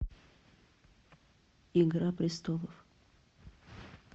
игра престолов